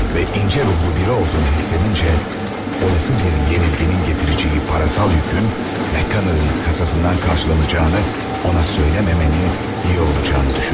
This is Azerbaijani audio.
Və incə ruhlu biri olduğunu hiss edincə, olası bir yenilginin gətirəcəyi parasal yükün Mekkel'in kasasından qarşılanacağını ona söyləməmənin iyi olacağını düşündüm.